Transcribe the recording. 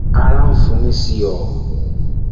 ara ń fu mí sí i o